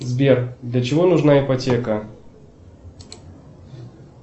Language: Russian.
сбер для чего нужна ипотека